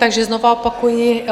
Takže znova opakuji.